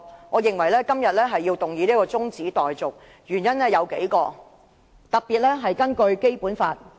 我認為今天要提出中止待續議案，原因有數個，特別是與《基本法》有關。